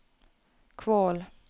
Kvål